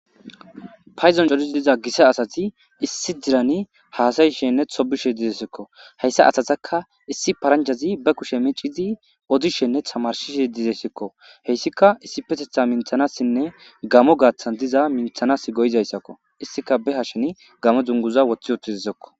payzon colizi diza gissa asati issi dirani haasayishenne tobishe dizesekko heyssa asataka issi parancazi be kushe mecizi odishenne tamarshishe dizesikko heyssika issi petetha minthanassinne gamo gaaththan diza minthanas go7izayssakko issika be hasheni gamo dunguza woththi otizizekko